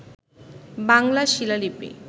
বাংলা শিলালিপি